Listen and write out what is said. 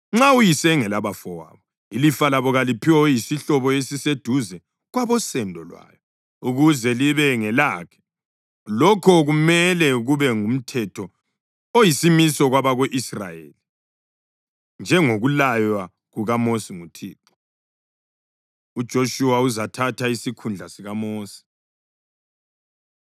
Nxa uyise engelabafowabo, ilifa layo kaliphiwe oyisihlobo esiseduze kwabosendo lwayo, ukuze libe ngelakhe. Lokho kumele kube ngumthetho oyisimiso kwabako-Israyeli, njengokulaywa kukaMosi nguThixo.’ ” UJoshuwa Uzathatha Isikhundla SikaMosi